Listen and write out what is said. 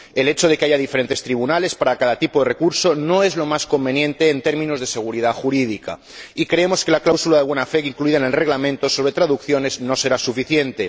El hecho de que haya diferentes tribunales para cada tipo de recurso no es lo más conveniente en términos de seguridad jurídica, y creemos que la cláusula de buena fe incluida en el Reglamento relativo a las disposiciones sobre traducción no será suficiente.